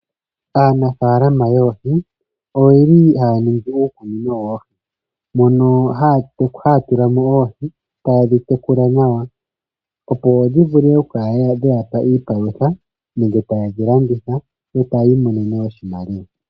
Aanafalama yoohi oyeli haya ningi uukunino woohi mono haya tulamo oohi tayedhi tekula nawa. Opo dhi vule oku kala dheyapa iipalutha yo tayedhi landitha, etayi imonene mo oshimaliwa.